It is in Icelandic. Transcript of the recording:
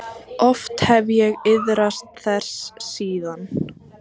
Oft hef ég iðrast þess síðan.